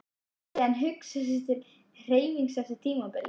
Gæti hann hugsað sér til hreyfings eftir tímabilið?